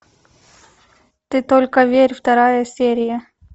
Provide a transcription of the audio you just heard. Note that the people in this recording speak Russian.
ты только верь вторая серия